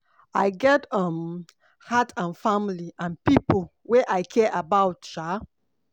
I get um heart and family and pipo wey I care about um